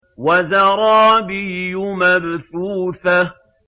وَزَرَابِيُّ مَبْثُوثَةٌ